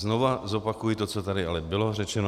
Znovu zopakuji to, co tady ale bylo řečeno.